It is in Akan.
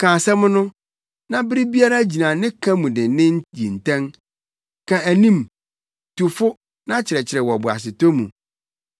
ka asɛm no, na bere biara gyina ne ka mu dennen yi ntɛn. Ka anim, tu fo na kyerɛkyerɛ wɔ boasetɔ mu.